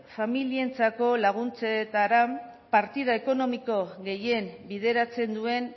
familientzako laguntzetara partida ekonomiko gehien bideratzen duen